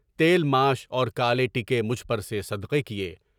تیل ماش اور کالے ٹیکے مجھ پر سے صدقے کیے۔